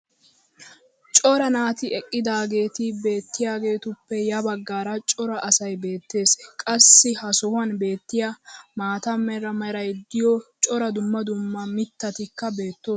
cora naati eqqidaageeti beetiyaageetuppe ya bagaara cora asay beetees. qassi ha sohuwan beetiya maata mala meray diyo cora dumma dumma mitatikka beetoosona.